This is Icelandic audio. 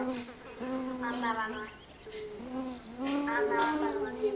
Annað var það nú ekki.